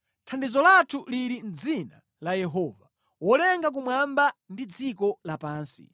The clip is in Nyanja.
Thandizo lathu lili mʼdzina la Yehova wolenga kumwamba ndi dziko lapansi.